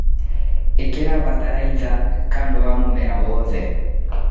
ĩkĩra bataraitha kando ya mũmera wothe.